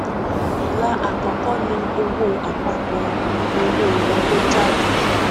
ilà àkọkọ ni owó àpapọ owó wọléjáde